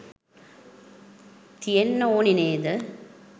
තියෙන්න ඕනෙ නේද?